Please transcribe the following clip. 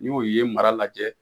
Ni o ye mara lajɛ.